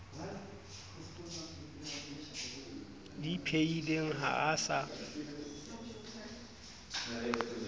di phehileng ha a sa